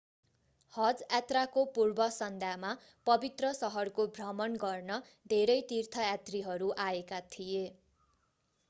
हज यात्राको पूर्व सन्ध्यामा पवित्र शहरको भ्रमण गर्न धेरै तीर्थयात्रीहरू आएका थिए